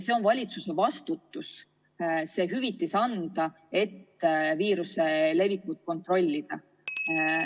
On valitsuse vastutus seda hüvitist maksta, et viiruse levikut kontrollida.